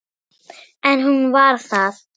En hún var það.